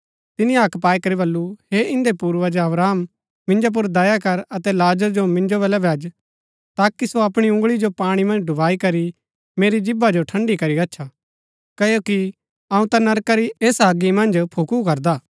तिनी हक्क पाई करी बल्लू हे इन्दै पूर्वज अब्राहम मिन्जो पुर दया कर अतै लाजर जो मिन्जो बल्लै भैज ताकि सो अपणी उँगळी जो पाणी मन्ज डूबाई करी मेरी जीभा जो ठण्डी करी गच्छा क्ओकि अऊँ ता नरका री ऐसा अगी मन्ज फुकू करदा